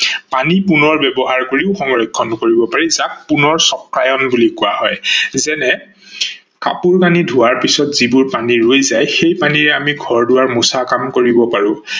পানী পুণৰ ব্যৱহাৰ কৰিও সংৰক্ষন কৰিব পাৰি যাক পুণৰ চক্ৰায়ণ বুলি কোৱা হয় যেনে কাপোৰ কানি ধোৱাৰ পাছত যিবোৰ পানী ৰৈ যায় সেই পানীৰে আমি ঘৰ-দোৱাৰ মুচা কাম কৰিব পাৰো।